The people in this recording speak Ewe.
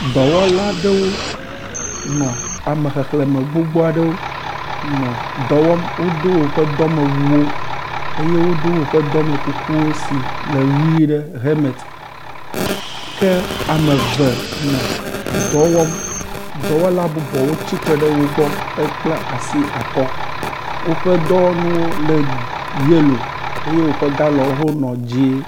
Dɔwɔla aɖewo nɔ ame xexlẽme gbogbo aɖewo nɔ dɔwɔm wodo woƒe dɔmewuwo eye wodo woƒe dɔmekuku si le ʋi ɖe helmet ke ame eve nɔ dɔ wɔm. Dɔwɔla bubuwo tsitre ɖe wo gbɔ hekpla asi akɔ. Woƒe dɔwɔnuwo le yello eye woƒe galɔn le dzɛ̃.